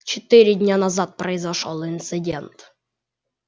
четыре дня назад произошёл инцидент